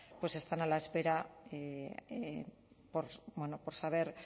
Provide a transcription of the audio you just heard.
pues están a la espera bueno por saber